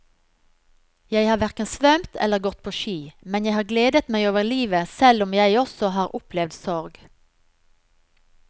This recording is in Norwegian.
Jeg har hverken svømt eller gått på ski, men jeg har gledet meg over livet selv om jeg også har opplevd sorg.